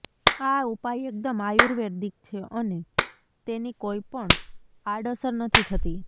આ ઉપાય એકદમ આયુર્વૈદિક છે અને તેની કોઈ પણ આડઅસર નથી થતી